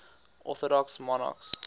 orthodox monarchs